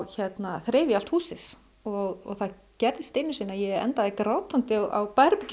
þreif ég allt húsið og það gerðist einu sinni að ég endaði grátandi á